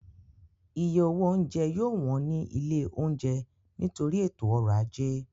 Iye owó oúnjẹ yóò wọ́n ní ilé oúnjẹ nítorí ètò ọ̀rọ̀ ajé